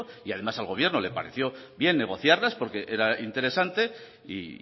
y además al gobierno le pareció bien negociarlas porque era interesante y